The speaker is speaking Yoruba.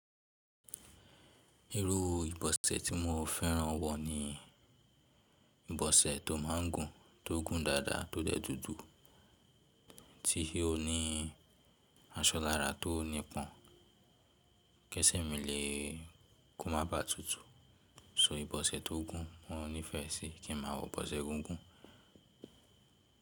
Irú ìbọ̀sẹ̀ tí mo fẹ́ràn wọ ní ìbọ̀sẹ̀ tó máa ń gùn, tó gùn dáadáa, tó dẹ́ dúdú, tí ó ní aṣọ lára tó nípọn. Késè mí le kó má ba à tutù. So ìbọ̀sẹ̀ tó gùn mo nífẹẹ sí kí n máa wọ ìbọ̀sẹ̀ gígùn.